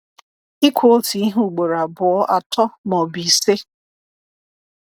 Ikwu otu ihe ugboro abụọ, atọ, ma ọ bụ ise.